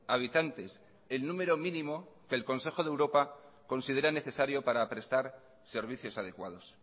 habitantes el número mínimo que el consejo de europa considera necesario para prestar servicios adecuados